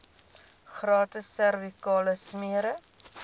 gratis servikale smere